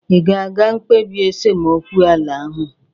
Ị ga-aga mkpebi esemokwu ala ahụ?